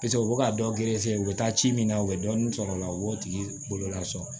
u bɛ ka dɔ gerefe u bɛ taa ci min na u bɛ dɔɔnin sɔrɔ o la u b'o tigi bololasɔrɔ